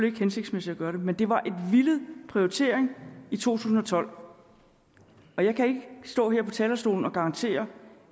ikke hensigtsmæssigt at gøre det men det var en villet prioritering i to tusind og tolv og jeg kan ikke stå her på talerstolen og garantere